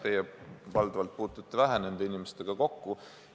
Teie valdavalt puutute nende inimestega vähe kokku.